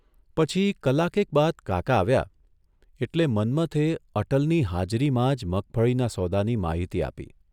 પછી કલાકેક બાદ કાકા આવ્યા એટલે મન્મથે અટલની હાજરીમાં જ મગફળીના સોદા ની માહિતી આપી